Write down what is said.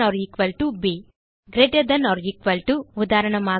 ஆ lt ப் greater than or equal to உதாரணமாக